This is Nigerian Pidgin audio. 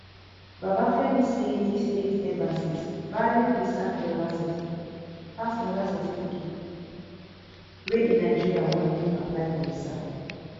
babafemi say dis eight embassies value visa clearance certificate pass anoda certificate wey a nigerian wan take apply for visa